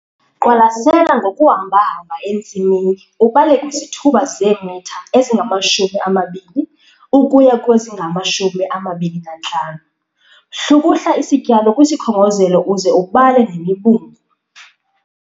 Qwalasela ngokuhamba-hamba entsimini ubale kwizithuba zeemitha ezingama-20 ukuya kwezingama-25. Hlukuhla isityalo kwisikhongozelo uze ubale nemibungu.